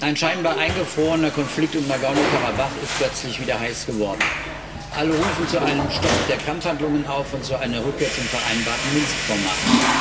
Ein scheinbar eingefrorener Konflikt um Nagorny Karabach ist plötzlich wieder heiß geworden. Alle rufen zu einem Stopp der Kampfhandlungen auf und zu einer Rückkehr zum vereinbarten Minsk Format.